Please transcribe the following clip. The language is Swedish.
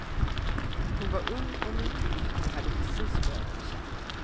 Hon var ung och nygift och hade precis börjat bli känd.